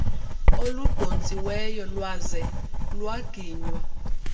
oludontsiweyo lwaze lwaginywa